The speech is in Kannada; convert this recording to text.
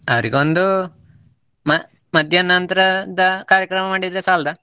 ಅವರಿಗೊಂದು, ಮ~ ಮಧ್ಯಾಹ್ನ ನಂತ್ರದ ಕಾರ್ಯಕ್ರಮ ಮಾಡಿದ್ರೆ ಸಾಲ್ದಾ?